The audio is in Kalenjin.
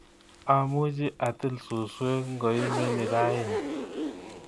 Amuchi atil suswek ngoimeni raining